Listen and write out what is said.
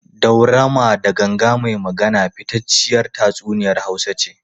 Daurama da Ganga mai Magana fitacciyar tatsuniyar Hausa ce.